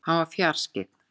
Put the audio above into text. Hann var fjarskyggn.